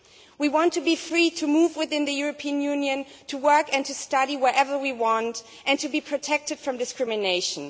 We want to be free to move within the European Union to work and to study wherever we want, and to be protected from discrimination.